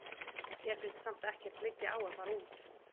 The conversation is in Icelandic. Mér finnst samt ekkert liggja á að fara út.